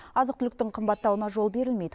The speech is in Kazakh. азық түліктің қымбаттауына жол берілмейді